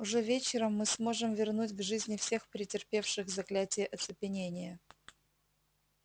уже вечером мы сможем вернуть к жизни всех претерпевших заклятие оцепенения